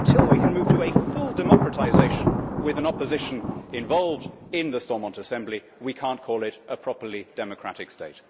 Until we can move to a full democratisation, with an opposition involved in the Stormont Assembly, we cannot call it a properly democratic state.